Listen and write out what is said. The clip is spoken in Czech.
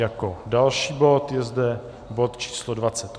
Jako další bod je zde bod číslo